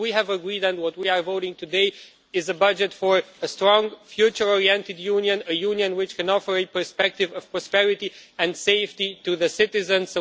What we have agreed and what we are voting today is a budget for a strong, future oriented Union, a Union which can offer a perspective of prosperity and safety to the citizens.